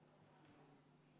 V a h e a e g